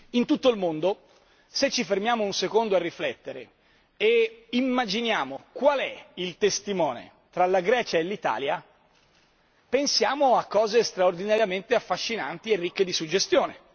In tutto il mondo se ci fermiamo un secondo a riflettere e immaginiamo qual è il testimone tra la Grecia e l'Italia, pensiamo a cose straordinariamente affascinanti e ricche di suggestione.